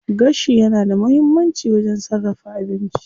Gashi yana da muhimmanci wajen sarrafa abinci.